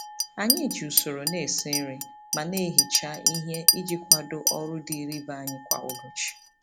Anyị ji usoro na-esi nri ma na-ehicha ihe iji kwado ọrụ dịịrị ibe anyị kwa ụbọchị.